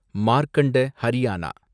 Markanda Haryana